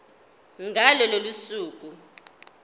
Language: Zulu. ngalo lolo suku